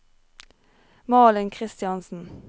Malin Christiansen